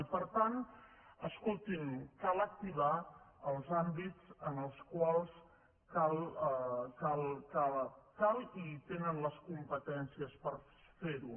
i per tant escolti’m cal activar els àmbits en els quals cal i tenen les competències per fer ho